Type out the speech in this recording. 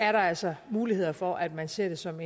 er altså muligheder for at man ser det som